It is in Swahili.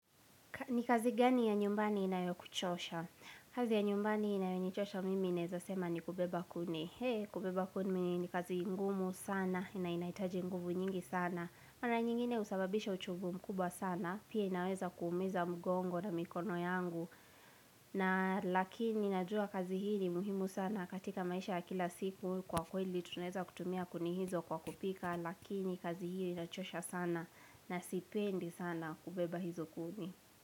Ni kazi gani ya nyumbani inayo kuchosha? Kazi ya nyumbani inayo nichosha mimi naeza sema ni kubeba kuni. He, kubeba kuni ni kazi ngumu sana na inaitaji nguvu nyingi sana. Mara nyingine usababisha uchovu mkubwa sana, pia inaweza kumiza mgongo na mikono yangu. Na lakini najua kazi hili muhimu sana katika maisha ya kila siku. Kwa kweli tuneza kutumia kuni hizo kwa kupika, lakini kazi hili inachosha sana na sipendi sana kubeba hizo kuni.